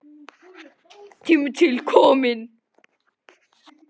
Tími til kominn.